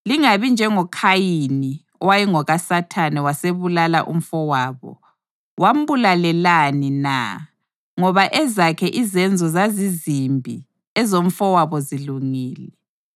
Lingabi njengoKhayini, owayengokaSathane wasebulala umfowabo. Wambulalelani na? Ngoba ezakhe izenzo zazizimbi ezomfowabo zilungile.